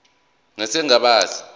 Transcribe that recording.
nesigaba a se